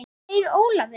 Hvað segir Ólafur?